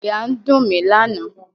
Àyà ń dùn mí lánàá.